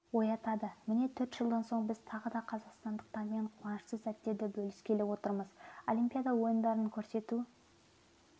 оятады міне төрт жылдан соң біз тағы да қазақстандықтармен қуанышты сәттерді бөліскеліотырмыз олимпиада ойындарын көрсету